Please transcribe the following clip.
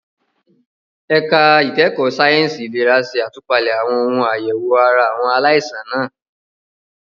Ẹ̀ka ìkẹ́kọ̀ọ́ sáyẹ̀nsì ìlera ṣe àtúpalẹ̀ àwọn ohun àyẹ̀wò ara àwọn aláìsàn náà.